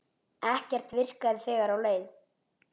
Ekkert virkaði þegar á leið.